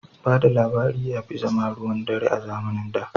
Ba da labari ya fi zama ruwan dare a zamanin da.